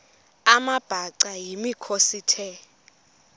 amabhaca yimikhosi the